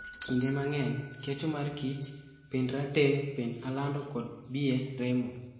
Kinde mang'eny kecho mar kich, pind rateng', pind alando kod biye remo.